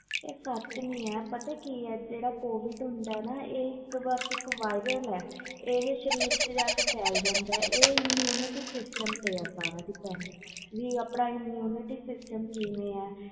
ਆਹ ਸੱਚ ਨਹੀਂ ਹੈ ਪਤਾ ਜਿਹੜਾ covid ਹੁੰਦਾ ਆ ਇਹ ਇਕ viral ਹੈ ਇਹ ਸਰੀਰ ਵਿਚ ਜਾ ਕੇ ਫੈਲ ਜਾਂਦਾ ਇਹ immunity system ਤੇ depend ਆ ਆਪਣਾ immunity system ਕਿਵੇਂ ਆ